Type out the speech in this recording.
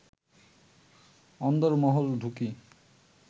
অন্দরমহলে ঢুকি